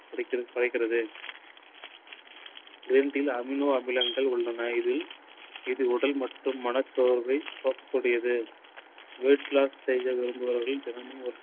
குறை~குறைக்கிறது. green tea யில் amino அமிலங்கள் உள்ளன. இதில் உடல் மற்றும் மனச்சோர்வை போக்கக் கூடியது. weight loss செய்ய விரும்புபவர்கள் தினமும் ஒரு